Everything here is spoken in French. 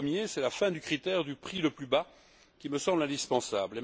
Le premier, c'est la fin du critère du prix le plus bas, qui me semble indispensable.